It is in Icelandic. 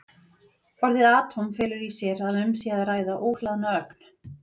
Orðið atóm felur í sér að um sé að ræða óhlaðna ögn.